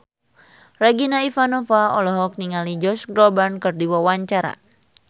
Regina Ivanova olohok ningali Josh Groban keur diwawancara